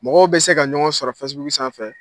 Mɔgɔw bɛ se ka ɲɔgɔn sɔrɔ fɛsibuku sanfɛ